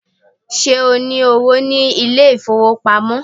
Ṣé o ní owó ní ilé ìfowópamọ́?